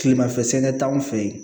Kilemafɛ sɛnɛ t'anw fɛ yen